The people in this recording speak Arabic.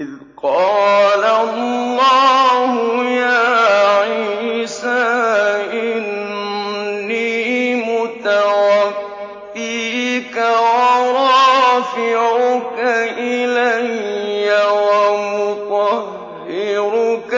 إِذْ قَالَ اللَّهُ يَا عِيسَىٰ إِنِّي مُتَوَفِّيكَ وَرَافِعُكَ إِلَيَّ وَمُطَهِّرُكَ